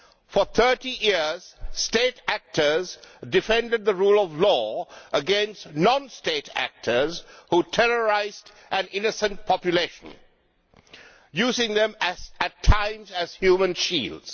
For 30 years, state actors defended the rule of law against non state actors which terrorised an innocent population, using them at times as human shields.